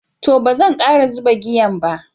To, bazan kara zuɓa giyan ba.